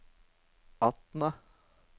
Atna